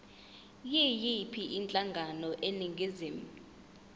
yiyiphi inhlangano eningizimu